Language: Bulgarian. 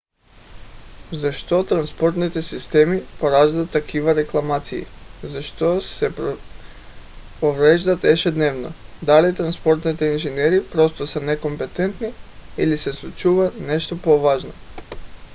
защо транспортните системи пораждат такива рекламации защо се повреждат ежедневно? дали транспортните инженери просто са некомпетентни? или се случва нещо по-важно?